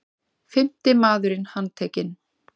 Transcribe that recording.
Fimmti maðurinn handtekinn